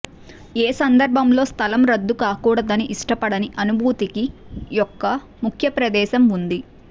ఏ సందర్భంలో స్థలం రుద్దు కాకూడదని ఇష్టపడని అనుభూతికి యొక్క ముఖ్య ప్రదేశం ఉంది